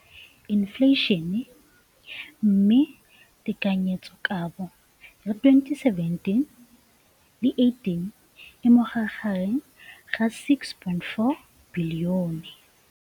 Infleišene, mme tekanyetsokabo ya 2017, 18, e magareng ga R6.4 bilione.